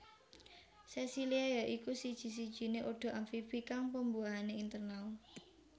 Sesilia ya iku siji sijiné ordo amfibi kang pembuahané internal